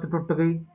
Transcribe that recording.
ਥੋੜਾ